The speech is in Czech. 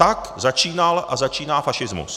Tak začínal a začíná fašismus.